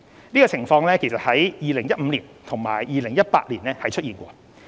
此情況曾在2015年及2018年出現。